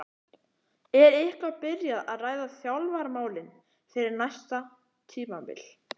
Er eitthvað byrjað að ræða þjálfaramálin fyrir næsta tímabil?